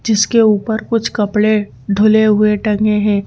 जिसके ऊपर कुछ कपड़े धुले हुए टंगे हैं।